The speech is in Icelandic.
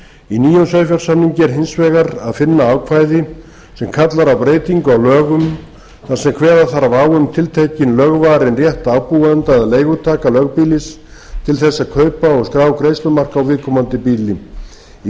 í nýjum sauðfjársamningi er hins vegar að finna ákvæði sem kallar á breytingu á lögum þar sem kveða þarf á um tiltekinn lögvarinn rétt ábúenda eða leigutaka lögbýlis til að kaupa eða skrá greiðslumark á viðkomandi býli í